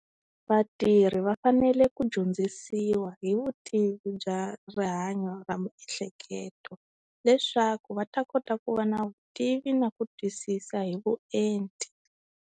Vatirhi va fanele ku dyondzisiwa hi vutivi bya rihanyo ra miehleketo, leswaku va ta kota ku va na vutivi na ku twisisa hi vuenti.